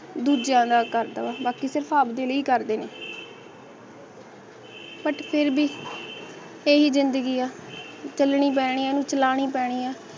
ਦੂਜਿਆ ਦਾ ਕਰ ਦਵਾ ਬਾਕੀ ਸਿਰਫ ਆਪ ਦੇ ਲਈ ਕਰਦੇ ਨੇ but ਸਿਰ ਵੀ ਅਹਿ ਹੈ ਜ਼ਿੰਦਗੀ ਆ ਝੱਲਣੀ ਪੈਣੀ ਆ ਇਹਨੂੰ ਚਲਾਨੀ ਪੈਣੀ ਆ